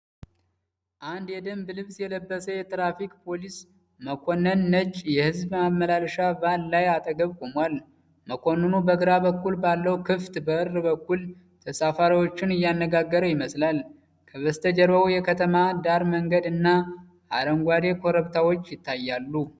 አንድ የደንብ ልብስ የለበሰ የትራፊክ ፖሊስ መኮንን ነጭ የሕዝብ ማመላለሻ ቫን ላይ አጠገብ ቆሟል። መኮንኑ በግራ በኩል ባለው ክፍት በር በኩል ተሳፋሪዎቹን እያናገረ ይመስላል። ከበስተጀርባው የከተማ ዳር መንገድ እና አረንጓዴ ኮረብታዎች ይታያሉ።